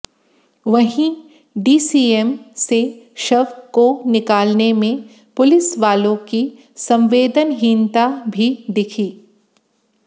वहीं डीसीएम से शव को निकालने में पुलिस वालों की संवेदनहीनता भी दिखी